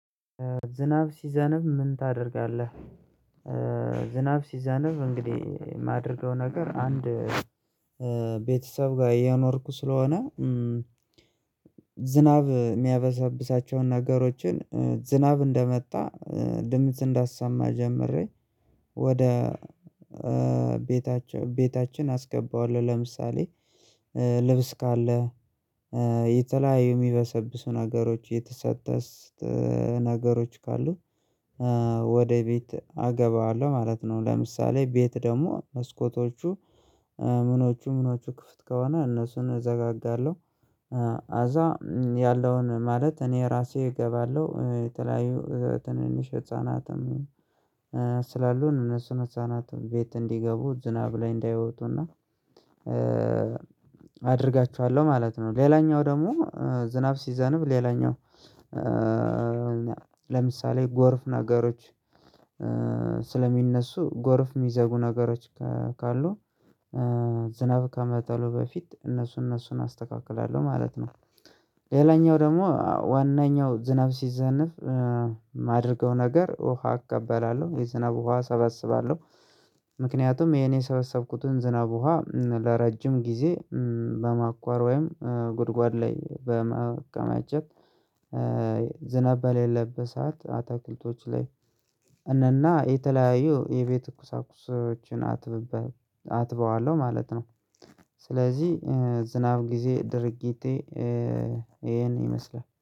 ዝናብ ሲዘነብ ምን ታደርጋለህ? ዝናብ ሲዘነብ እንግዲህ የማደርገው ነገር አንድ ቤተሰብ ጋር እየኖርኩ ስለሆነ። ዝናብ የሚያበሳብሳቸውን ነገሮችን ዝናብ እንደመጣ ድምጽ እንዳሰማ ጀምሬ ወደ ቤታችን አስገባዋለሁ። ለምሳሌ ልብስ ካለ የተለያዩ የሚበሰብሱ ነገሮች የተሰጡ ነገሮች ካሉ ወደ ቤት አገባዋለሁ ማለት ነው። ለምሳሌ ቤት ደግሞ መስኮቶቹ ምኖቹ ምኖቹ ክፍት ከሆነ እነሱን እዘጋጋለሁ። ከዛ ያለውን ማለት እኔ ራሴ እገባለሁ የተለያዩ ትንንሽ ህፃናትም ስላሉን እነሱን ህፃናት ቤት እንዲገቡ ዝናብ ላይ እንዳይወጡና አድርጋችኋለሁ ማለት ነው። ሌላኛው ደግሞ ዝናብ ሲዘንብ ሌላኛው ለምሳሌ ጎርፍ ነገሮች ስለሚነሱ ጎርፍ የሚዘጉ ነገሮች ካሉ ዝናብ ከመጣሉ በፊት እነሱን እነሱን አስተካክላለሁ ማለት ነው። ሌላኛው ደግሞ ዋናው ዝናብ ሲዘንፍ የማደርገው ነገር ውሃ እቀበላለሁ የዝናብ ውሃ እሰበስባለሁ። ምክንያቱም ይሄን የሰበሰብኩትን ዝናብ ውሃ ለረጅም ጊዜ በማቆር ወይም ጉድጓድ ላይ በመከማቸት ዝናብ በሌለበት ሰዓት አትክልቶች ላይ እና የተለያዩ የቤት ቁሳቁሶችን አጥብበታለው አጥበዋለሁ ማለት ነው። ስለዚህ የዝናብ ጊዜ ድርጊቴ ይሄን ይመስላል።